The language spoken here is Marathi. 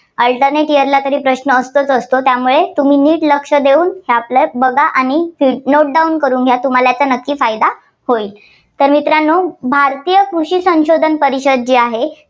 alternate year ला तरी प्रश्न असतंच असतं. त्यामुळे तुम्ही लक्ष नीट लक्ष देऊन बघा आणि note down करून घ्या. तुम्हाला याचा नक्की फायदा होईल. तर मित्रांनो भारतीय कृषी संशोधन परिषद जी आहे.